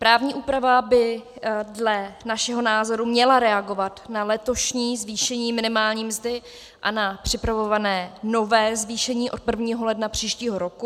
Právní úprava by dle našeho názoru měla reagovat na letošní zvýšení minimální mzdy a na připravované nové zvýšení od 1. ledna příštího roku.